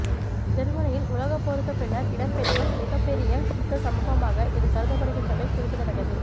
ஜெர்மனியில் உலகப் போருக்கு பின்னர் இடம்பெற்ற மிகப்பெரிய குற்ற சம்பவமாக இது கருதப்படுகின்றமை குறிப்பிடத்தக்கது